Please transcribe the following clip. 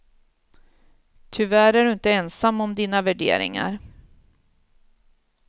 Tyvärr är du inte ensam om dina värderingar.